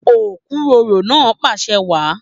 Okuroro náà pàṣẹ wàá.